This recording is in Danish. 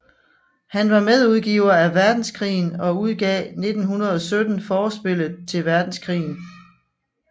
Han var medudgiver af Verdenskrigen og udgav 1917 Forspillet til Verdenskrigen